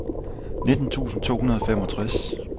nitten tusind to hundrede og femogtres